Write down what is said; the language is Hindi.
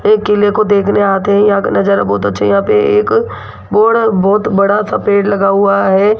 ये किले को देखने आते हैं यहां का नजारा बहुत अच्छा यहां पे एक बोर्ड और बहुत बड़ा सा पेड़ लगा हुआ है।